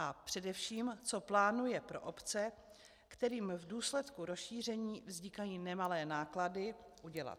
A především, co plánuje pro obce, kterým v důsledku rozšíření vznikají nemalé náklady, udělat?